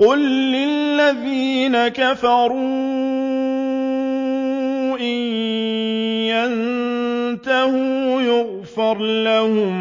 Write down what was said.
قُل لِّلَّذِينَ كَفَرُوا إِن يَنتَهُوا يُغْفَرْ لَهُم